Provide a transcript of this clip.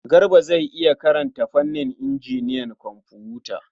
Garba zai iya karanta fannin injiniyan kwamfuta.